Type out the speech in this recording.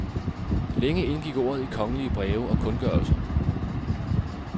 Længe indgik ordet i kongelige breve og kundgørelser.